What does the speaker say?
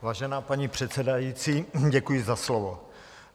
Vážená paní předsedající, děkuji za slovo.